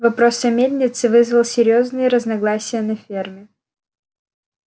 вопрос о мельнице вызвал серьёзные разногласия на ферме